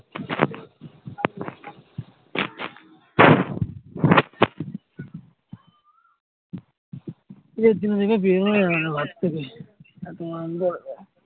ঈদ এর দিন থেকে বেরোনো যায় না ঘোর থেকে